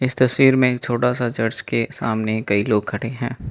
तस्वीर में एक छोटा सा चर्च के सामने कई लोग खड़े हैं।